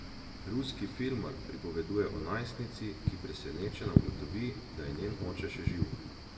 Ruski filmar pripoveduje o najstnici, ki presenečena ugotovi, da je njen oče še živ.